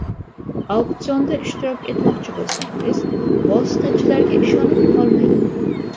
Auksionda ishtirok etmoqchi bo‘lsangiz, vositachilarga ishonib qolmang.